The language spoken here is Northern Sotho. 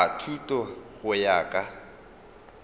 a thuto go ya ka